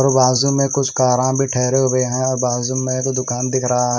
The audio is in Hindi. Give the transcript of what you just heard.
और बाजू में कुछ कारा भी ठहरे हुए हैं और बाजू में एक दुकान दिख रहा है।